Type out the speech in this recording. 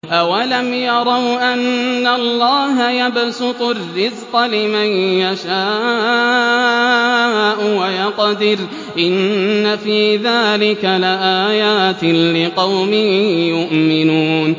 أَوَلَمْ يَرَوْا أَنَّ اللَّهَ يَبْسُطُ الرِّزْقَ لِمَن يَشَاءُ وَيَقْدِرُ ۚ إِنَّ فِي ذَٰلِكَ لَآيَاتٍ لِّقَوْمٍ يُؤْمِنُونَ